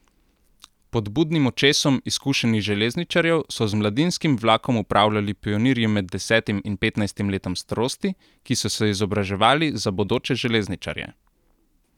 Pod budnim očesom izkušenih železničarjev so z mladinskim vlakom upravljali pionirji med desetim in petnajstim letom starosti, ki so se izobraževali za bodoče železničarje.